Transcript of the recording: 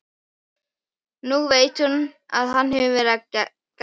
Nú veit hún að hann hefur verið að gægjast.